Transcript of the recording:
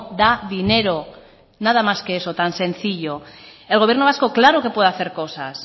da dinero nada más que eso tan sencillo el gobierno vasco claro que puede hacer cosas